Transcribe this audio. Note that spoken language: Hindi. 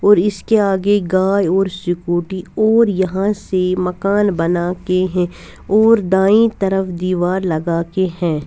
और इसके आगे गाय और स्कूटी और यहाँ से मकान बना के है और दाई तरफ़ दिवार लगा के है।